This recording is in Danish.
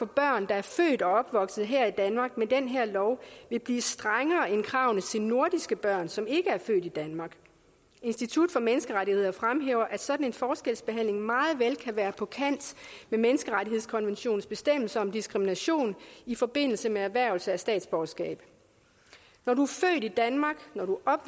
børn der er født og opvokset her i danmark med den her lov vil blive strengere end kravene til nordiske børn som ikke er født i danmark institut for menneskerettigheder fremhæver at sådan en forskelsbehandling meget vel kan være på kant med menneskerettighedskonventionens bestemmelser om diskrimination i forbindelse med erhvervelse af statsborgerskab når du er født i danmark når du er